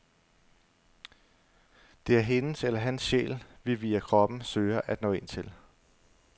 Det er hendes eller hans sjæl, vi via kroppen søger at nå ind til.